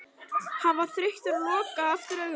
Hann var þreyttur og lokaði aftur augunum.